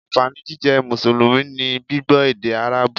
Ànfàní jíjẹ́ Mùsùlùmí ni gbígbọ́ èdè Árábù